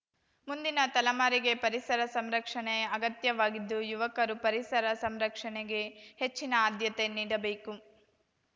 ಮುಂದಿನ ತಲೆಮಾರಿಗೆ ಪರಿಸರ ಸಂರಕ್ಷಣೆ ಅಗತ್ಯವಾಗಿದ್ದು ಯುವಕರು ಪರಿಸರ ಸಂರಕ್ಷಣೆಗೆ ಹೆಚ್ಚಿನ ಆದ್ಯತೆ ನೀಡಬೇಕು